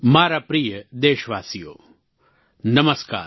મારા પ્રિય દેશવાસીઓ નમસ્કાર